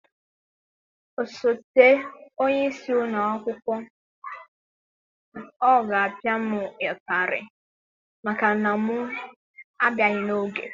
Osote onye isi ụlọ akwụkwọ ọ ga-apịa m ụtarị maka na m abịaghị n'oge?